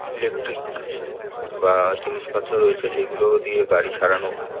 Electric বা জিনিসপত্র রয়েছে যেগুলো দিয়ে গাড়ি সারানো হয়।